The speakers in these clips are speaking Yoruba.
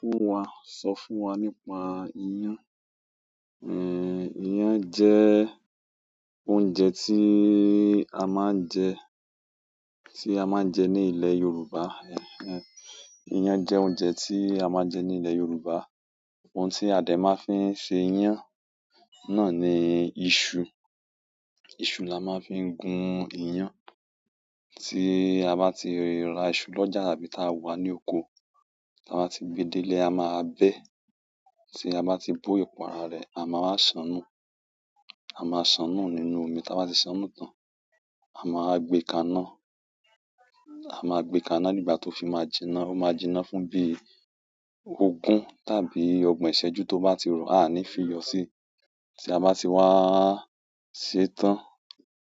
Fún wa, sọ fún wa nípa iyán. Ehn, iyán jẹ oúnjẹ tí a máa ń jẹ, tí a máa ń jẹ ní ilẹ̀ Yorùbá. Ehn ehn. Iyán jẹ́ oúnjẹ tí a máa ń jẹ ní ilẹ̀ Yorùbá. Ohun tí a dẹ̀ máa ń fi ń ṣe iyán náà ni iṣu. Iṣu la máa ń fi gun iyán. Tí a bá ti rà iṣu lọ́jà tàbí táa wà ní oko, tí a bá ti gbe dé ilé, a máa bẹ, tí a bá ti bó ìpara rẹ̀, a máa ṣànú, a máa ṣànú nínú omi. Tí a bá ti ṣànú tán, a máa gbe kaná, a máa gbe kaná ní ìgbà tó fi máa jinná. Ó máa jinná fún bí ogún tàbí ọgbọ̀n ìṣẹ́jú tó bá ti rọ, a máa ní fi yọ síi. Tí a bá ti wá ṣẹ́ tán,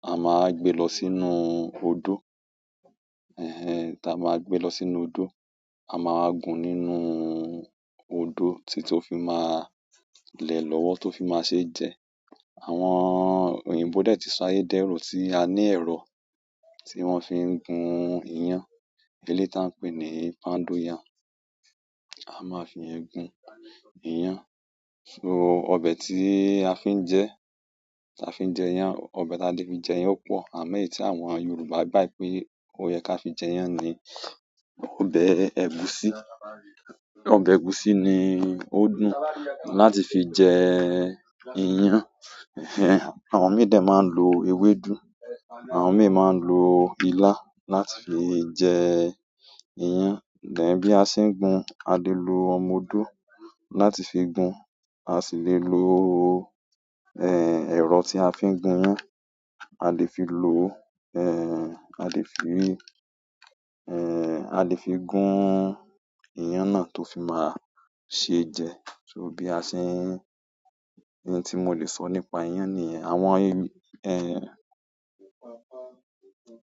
a máa gbe lọ sínú odó. Ehn ehn. Tí a bá gbe lọ sínú odó, a máa gún nínú odó títí ó fi máa lẹ̀ lọ́wọ́ tó fi máa ṣe jẹ. Àwọn òyìnbó dẹ̀ ti ṣááyé dẹ́rù tí a ní ẹ̀rọ tí wọ́n fi ń gun iyán. Elé táa pè ni poundo yam. A máa fi ẹ gun iyán. So, ọbẹ̀ tí a fi ń jẹ, tí a fi ń jẹ iyán, ọbẹ̀ táa lè fi jẹ iyán pọ̀. Àmọ́ èyí tí àwọn Yorùbá gbà pé ó yẹ ká fi jẹ iyán ni ọbẹ̀ ẹ̀gúsí. Ọbẹ̀ ẹ̀gúsí ni ó dùn láti fi jẹ iyán. Ehn ehn. Àwọn médẹ̀ máa ń lo ewédú, àwọn méè máa ń lo ilá láti fi jẹ iyán. Bí a ṣe ń gun, a lè lo ọmọ odó láti fi gun, a sì lè lo, ehn, ẹ̀rọ tí a fi ń gun, a lè fi lo, ehn, a lè fi, ehn, a lè fi gun iyán náà tó fi máa ṣe jẹ. So bí a ṣe ń-- ohun tí mo lè sọ nípa iyán nìyẹn. Àwọn, ehn-